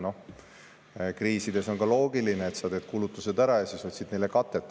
Ja kriisides on ka loogiline, et teed kulutused ära ja siis otsid neile katet.